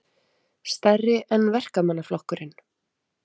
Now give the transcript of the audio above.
Stærri en Verkamannaflokkurinn